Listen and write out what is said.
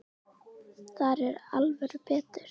Þar er alvöru vetur.